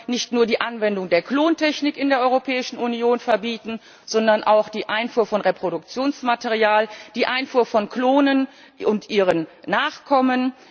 Wir wollen nicht nur die Anwendung der Klontechnik in der Europäischen Union verbieten, sondern auch die Einfuhr von Reproduktionsmaterial, die Einfuhr von Klonen und ihren Nachkommen.